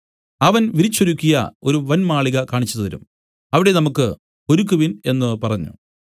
അവൻ വിരിച്ചൊരുക്കിയ ഒരു വന്മാളിക കാണിച്ചുതരും അവിടെ നമുക്കു ഒരുക്കുവിൻ എന്നു പറഞ്ഞു